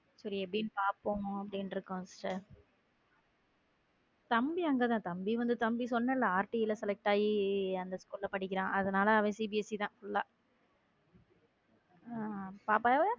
சரி எப்படின்னு பாப்போம் அப்பிடின்னு இருக்கோம் sister தம்பி அங்க தான் தம்பி வந்து சொன்னேன்ல RT ல select ஆகி அந்த school ல படிக்கிறான் அதனால அவன் சிபிஎஸ்சி தான் full ஆ பாப்பா.